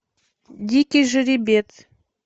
дикий жеребец